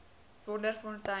wonderfontein